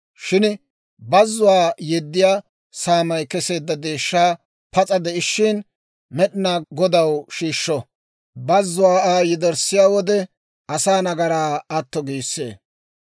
Shin bazzuwaa yeddiyaa saamay keseedda deeshshaa pas'a de'ishshin Med'inaa Godaw shiishsho; bazzuwaa Aa yederssiyaa wode, asaa nagaraa atto giissee.